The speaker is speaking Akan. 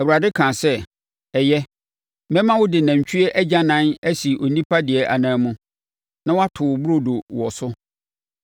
Awurade kaa sɛ, “Ɛyɛ, mɛma wode nantwie agyanan asi onipa deɛ anan mu, na wato wo burodo wɔ so.”